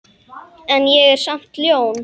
En ég er samt ljón.